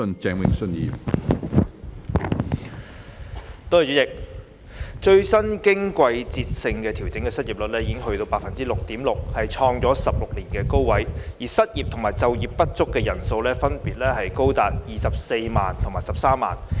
主席，最新經季節性調整的失業率為百分之六點六，創16年高位，而失業及就業不足人數分別高達24萬及13萬。